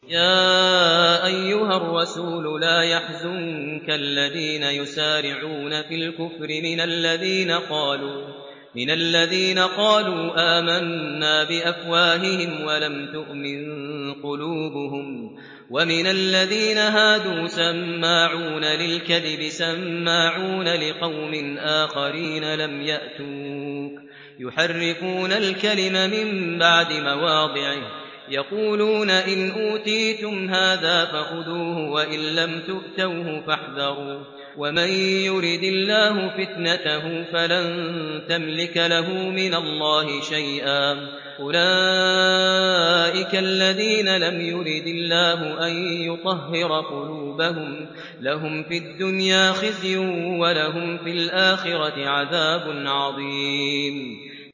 ۞ يَا أَيُّهَا الرَّسُولُ لَا يَحْزُنكَ الَّذِينَ يُسَارِعُونَ فِي الْكُفْرِ مِنَ الَّذِينَ قَالُوا آمَنَّا بِأَفْوَاهِهِمْ وَلَمْ تُؤْمِن قُلُوبُهُمْ ۛ وَمِنَ الَّذِينَ هَادُوا ۛ سَمَّاعُونَ لِلْكَذِبِ سَمَّاعُونَ لِقَوْمٍ آخَرِينَ لَمْ يَأْتُوكَ ۖ يُحَرِّفُونَ الْكَلِمَ مِن بَعْدِ مَوَاضِعِهِ ۖ يَقُولُونَ إِنْ أُوتِيتُمْ هَٰذَا فَخُذُوهُ وَإِن لَّمْ تُؤْتَوْهُ فَاحْذَرُوا ۚ وَمَن يُرِدِ اللَّهُ فِتْنَتَهُ فَلَن تَمْلِكَ لَهُ مِنَ اللَّهِ شَيْئًا ۚ أُولَٰئِكَ الَّذِينَ لَمْ يُرِدِ اللَّهُ أَن يُطَهِّرَ قُلُوبَهُمْ ۚ لَهُمْ فِي الدُّنْيَا خِزْيٌ ۖ وَلَهُمْ فِي الْآخِرَةِ عَذَابٌ عَظِيمٌ